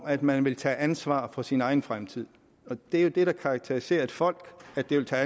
at man vil tage ansvar for sin egen fremtid det er jo det der karakteriserer et folk at det vil tage